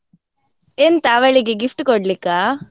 ಎಂತ ಅವಳಿಗೆ gift ಕೊಡ್ಲಿಕ್ಕಾ?